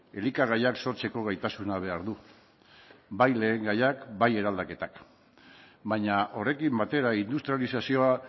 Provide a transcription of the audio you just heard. elikagaiak sortzeko gaitasuna behar du bai lehengaiak bai eraldaketak baina horrekin batera industrializazioa